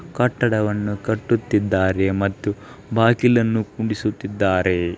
ಕಟ್ಟಡವನ್ನು ಕಟ್ಟುತ್ತಿದ್ದಾರೆ ಮತ್ತು ಬಾಗಿಲನ್ನು ಕುಂಡಿಸುತ್ತಿದ್ದಾರೆ.